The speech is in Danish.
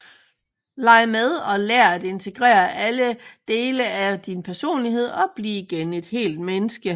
Leg med og lær at integrere alle dele af din personlighed og bliv igen et helt menneske